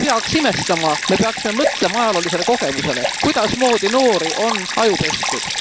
Me ei peaks imestama, me peaksime mõtlema ajaloolisele kogemusele, kuidasmoodi noori on ajupestud.